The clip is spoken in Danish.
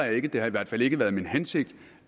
jeg ikke det har i hvert fald ikke været min hensigt